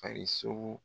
Farirso